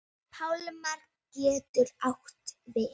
Pálmar getur átt við